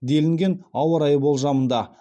деліген ауа райы болжамында